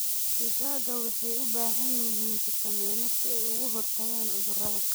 Digaagga waxay u baahan yihiin fiitamiinno si ay uga hortagaan cudurrada.